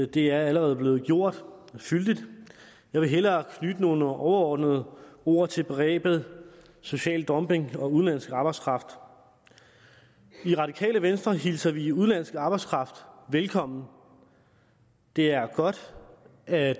det er allerede blevet gjort fyldigt jeg vil hellere knytte nogle overordnede ord til begrebet social dumping og udenlandsk arbejdskraft i radikale venstre hilser vi udenlandsk arbejdskraft velkommen det er godt at